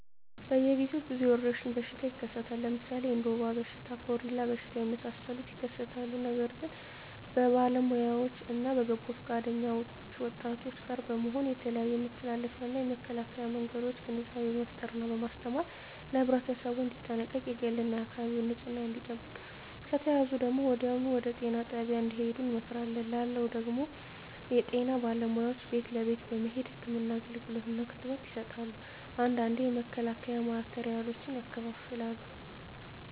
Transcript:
በየ ግዜው ብዙ የወረሽኝ በሽታ ይከሰታል ለምሣሌ እንደ ወባ በሽታ ኮሪላ በሽታ የመሣሠሉት ይከሠታሉ ነገር ግን በባለውያዎች እነ በበጎ ፈቃደኞች ወጣቶች ጋር በመሆን የተለያዮ የመተላለፊያ እና የመከላኪያ መንገዶችን ግንዛቤ በመፍጠር እና በማስተማር ለህብረተሠቡ እንዲጠነቀቅ የግል እና የአካባቢውን ንፅህና እንዲጠብቅ ከተያዙ ደግሞ ወዲያሁኑ ወደጤና ጣቢያ እንድሄዱ እንመክራለን ላለው ደግም ጤና ባለሙያዎች ቤት ለቤት በመሄድ ህክምና አገልግሎት እና ክትባት ይሠጣሉ አንዳንዴ የመከላከያ ማቴሪያሎችን ያከፋፍላሉ